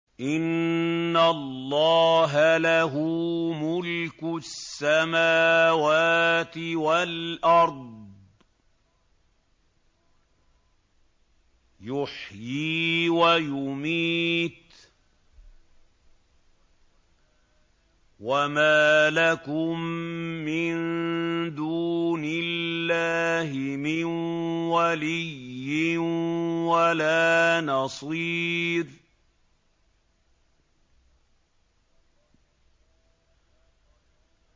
إِنَّ اللَّهَ لَهُ مُلْكُ السَّمَاوَاتِ وَالْأَرْضِ ۖ يُحْيِي وَيُمِيتُ ۚ وَمَا لَكُم مِّن دُونِ اللَّهِ مِن وَلِيٍّ وَلَا نَصِيرٍ